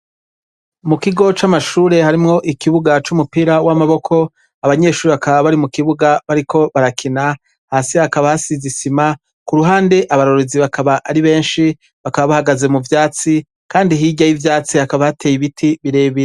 Mukigo c'Amashure harimwo ikibuga c'umupira w'amaboko, abanyeshure bakaba bari mukibuga bariko barakina, hasi hakaba hasize isima, kuruhande abarorerezi bakaba ari benshi bakaba bahagaze muvyatsi, kandi hirya y'ivyatsi hakaba hateye Ibiti birebire.